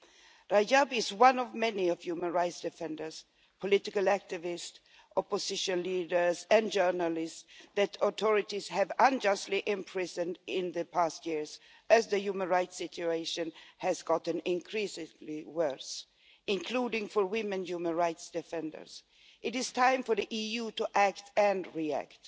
Nabeel Rajab is one of many human rights defenders, political activists, opposition leaders and journalists that the authorities have unjustly imprisoned in the past years as the human rights situation has got increasingly worse, including for female human rights defenders. It is time for the EU to act and react.